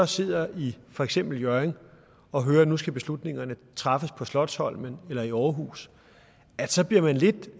sidder i for eksempel hjørring og hører at nu skal beslutningerne træffes på slotsholmen eller i aarhus så bliver man lidt